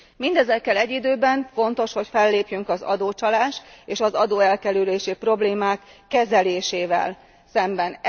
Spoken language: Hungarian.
Mindezekkel egy időben fontos, hogy fellépjünk az adócsalás és az adóelkerülési problémák kezelésével szemben.